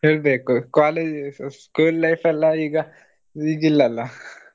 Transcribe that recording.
ಹೇಳ್ಬೇಕು college school life ಎಲ್ಲಾ ಈಗ ಇದಿಲ್ಲ ಅಲ.